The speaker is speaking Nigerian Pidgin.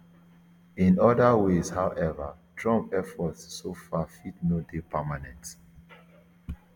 in oda ways however trump efforts so far fit no dey permanent